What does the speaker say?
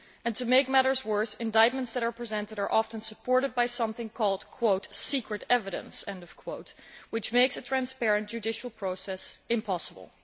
To make matters worse, indictments that are presented are often supported by something called secret evidence', which makes a transparent judicial process impossible.